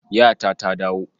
Yata ta dawo.